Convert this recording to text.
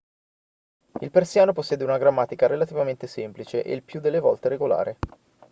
il persiano possiede una grammatica relativamente semplice e il più delle volte regolare